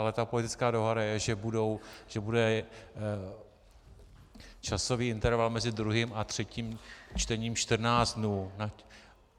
Ale ta politická dohoda je, že bude časový interval mezi druhým a třetím čtením 14 dnů.